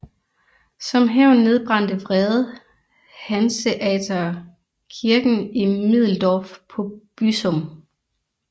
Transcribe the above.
Som hævn nedbrændte vrede hanseatere kirken i Middeldorf på Büsum